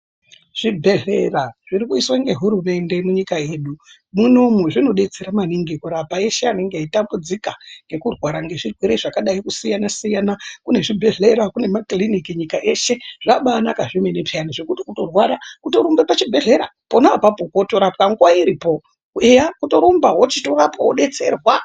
Zvibhedlera zvirikuiswa ngehurumende yedu munyika mwedu munomu, zvinodetsera maningi kurapa eshe anenge echitambudziko ngekurwara nezvirwere zvakadai kusiyana siyana ,kunezvibhedlera ,kunemakliniki nyika yese zvakabanaka zvemene, zvekuti kutorwara kutorumba kuchibhedlera pona ipapo wotorapwa nguva iripo, heyaa kutorumba wochitorapwa wodetserwa.